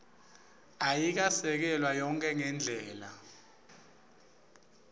ayikesekelwa yonkhe ngendlela